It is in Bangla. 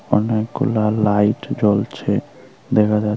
অনেকগুলা লাইট জ্বলছে দেখা যা--